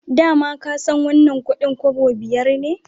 Da ma ka san wannan kudin kobo biyar ne